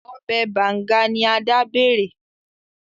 Obè Banga ni Ada bẹrẹ.